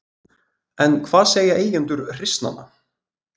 En hvað segja eigendur hryssnanna?